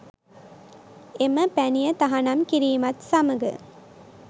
එම පැණිය තහනම් කිරීමත් සමග